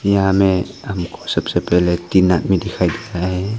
यहाँ मे हमको सबसे पहले तीन आदमी दिखाई दे रहा है।